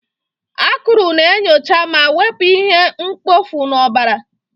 Akụrụ na-enyocha ma wepụ ihe mkpofu n'ọbara.